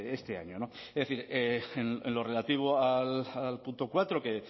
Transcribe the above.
este año es decir en lo relativo al punto cuatro que